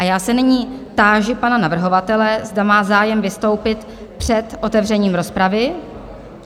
A já se nyní táži pana navrhovatele, zda má zájem vystoupit před otevřením rozpravy?